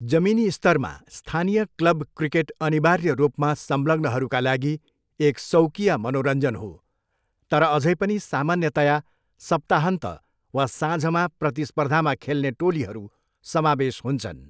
जमिनी स्तरमा, स्थानीय क्लब क्रिकेट अनिवार्य रूपमा संलग्नहरूका लागि एक सौकिया मनोरञ्जन हो तर अझै पनि सामान्यतया सप्ताहन्त वा साँझमा प्रतिस्पर्धामा खेल्ने टोलीहरू समावेश हुन्छन्।